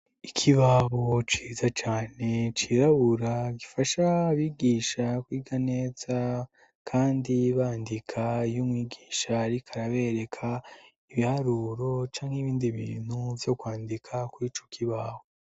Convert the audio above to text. Ikibaho ciza cane cirabura gifasha abigisha kwiga neza kandi bandika iyo umwigisha ariko arabereka ibiharuro canke ibindi bintu vyo kwandika kuri ico kibaho.